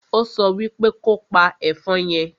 Ó so wípe kopa ẹ̀fọn yẹn!